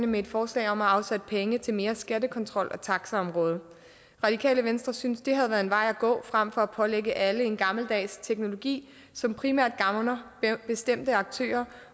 med et forslag om at afsætte penge til mere skattekontrol på taxaområdet radikale venstre synes det havde været en vej at gå frem for at pålægge alle en gammeldags teknologi som primært gavner bestemte aktører